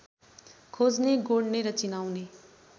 खोज्ने गोड्ने र चिनाउने